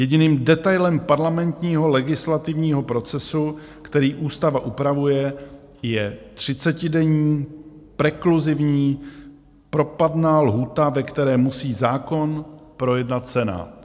Jediným detailem parlamentního legislativního procesu, který ústava upravuje, je třicetidenní prekluzivní propadná lhůta, ve které musí zákon projednat Senát.